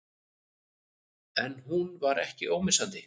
En hún var ekki ómissandi.